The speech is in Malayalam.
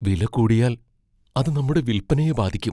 വില കൂടിയാൽ അത് നമ്മുടെ വില്പനയെ ബാധിക്കും.